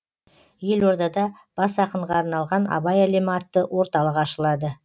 елордада бас ақынға арналған абай әлемі атты орталық ашылады